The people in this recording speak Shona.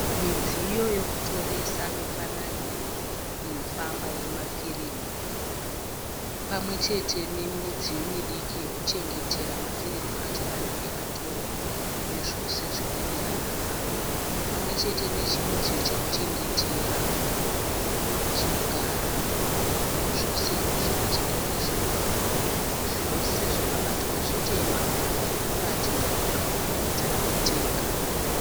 Midziyo yekutoresa mifananidzo inofamba yemafirimu pamwe chete nemidziyo midiki yekuchengetera mafirimu acho anenge atorwa nezvose zvinoenderana nawo pamwe chete nechimudziyo chekuchengetera chinogara zvose zvakachengetwa zviri ipapo. Zvose zvakabatwa zvitema zviri kuratidzwa kugadzirira vachada kutenga.